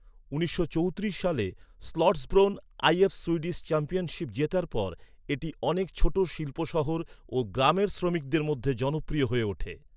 উনিশশো চৌত্রিশ সালে স্লটসব্রোন আইএফ সুইডিশ চ্যাম্পিয়নশিপ জেতার পর, এটি অনেক ছোট শিল্প শহর ও গ্রামের শ্রমিকদের মধ্যে জনপ্রিয় হয়ে ওঠে।